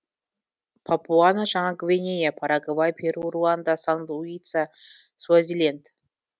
папуа жаңа гвинея парагвай перу руанда сан люция суазиленд